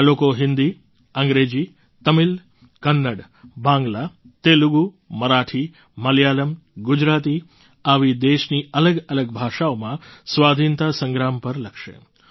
આ લોકો હિન્દી અંગ્રેજી તમિલ કન્નડ બાંગ્લા તેલુગુ મરાઠી મલયાલમ ગુજરાતી આવી દેશની અલગઅલગ ભાષાઓમાં સ્વાધીનતા સંગ્રામ પર લખશે